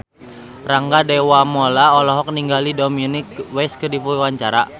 Rangga Dewamoela olohok ningali Dominic West keur diwawancara